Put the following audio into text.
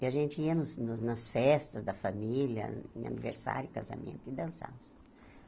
E a gente ia nos nos nas festas da família, em aniversário, casamento, e dançávamos.